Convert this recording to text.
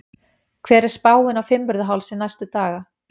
hver er spáin á fimmvörðuhálsi næstu daga